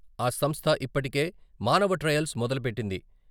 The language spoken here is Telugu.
ఆ సంస్థ ఇప్ప టికే మానవ ట్రయల్స్ మొదలు పెట్టింది.